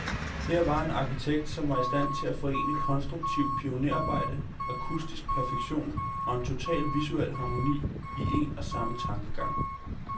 Her var en arkitekt, som var i stand til at forene konstruktivt pionerarbejde, akustisk perfektion, og en total visuel harmoni, i en og samme tankegang.